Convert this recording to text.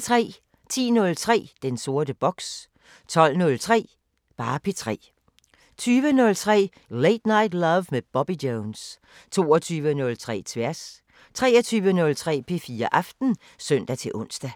10:03: Den sorte boks 12:03: P3 20:03: Late Night Love med Bobby Jones 22:03: Tværs 23:03: P3 Aften (søn-ons)